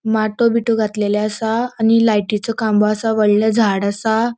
माटो बिटो घातलेले असा आणि लायटिचो खाम्बो असा वडले झाड़ असा.